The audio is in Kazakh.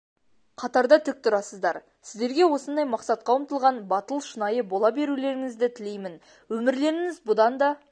қатарда тік тұрасыздар сіздерге осындай мақсатқа ұмтылған батыл шынайы бола берулеріңізді тілеймін өмірлеріңіз бұдан да